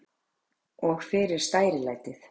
Og fyrir stærilætið.